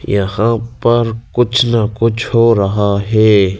यहां पर कुछ ना कुछ हो रहा है।